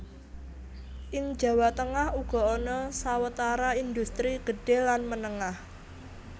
Ing Jawa Tengah uga ana sawetara indhustri gedhé lan menengah